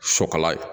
Sɔkɔlan ye